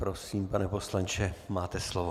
Prosím, pane poslanče, máte slovo.